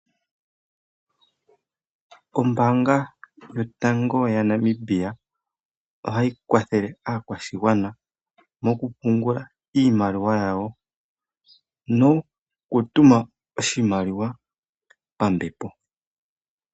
Ombaanga yotango yaNamibia ohayi kwathele aakwashigwana mokupungula iimaliwa yawo, nokutuma oshimaliwa pambepo.